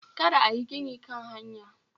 Kada ayi gini Kan hanya